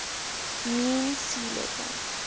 mean sea level